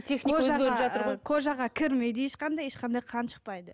кожаға кірмейді ешқандай ешқандай қан шықпайды